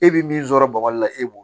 E bɛ min sɔrɔ bɔgɔ la e b'o